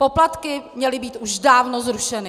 Poplatky měly být už dávno zrušeny!